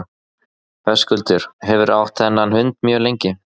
Höskuldur: Hefurðu átt þennan hund mjög lengi?